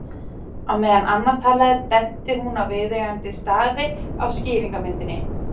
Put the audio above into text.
Á meðan Anna talaði benti hún á viðeigandi staði á skýringarmyndinni.